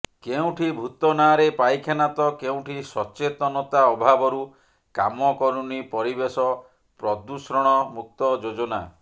କେଉଁଠି ଭୂତ ନାଁରେ ପାଇଖାନା ତ କେଉଁଠି ସତେଚନତା ଅଭାବରୁ କାମ କରୁନି ପରିବେଶ ପ୍ରଦୂଷଣ ମୁକ୍ତ ଯୋଜନା